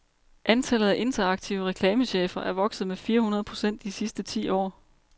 Antallet af interaktive reklamechefer er vokset med fire hundrede procent de sidste ti år.